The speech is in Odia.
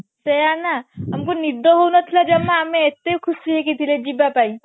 ସେଇଆ ନା ଅମାକୁ ନିଦ ହଉ ନଥିଲା ଜମା ଆମେ ଏତେ ଖୁସି ହେଇକି ଥିଲେ ଯିବା ପାଇଁ